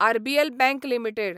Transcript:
RBL bank limited